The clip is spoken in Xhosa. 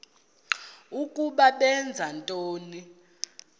ukuba benza ntoni